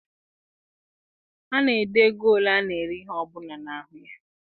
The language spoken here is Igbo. A na-ede ego ole ana ere ihe ọbụla n'ahụ ya.